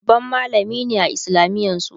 babban mallami ne a islamiyan su